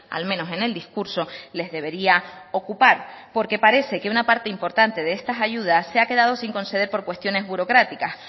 al menos en el discurso les debería ocupar porque parece que una parte importante de estas ayudas se ha quedado sin conceder por cuestiones burocráticas